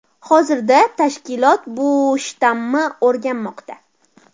Hozirda tashkilot bu shtammi o‘rganmoqda .